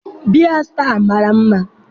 biya star mara mma